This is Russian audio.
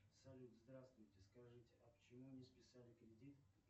салют здравствуйте скажите а почему не списали кредит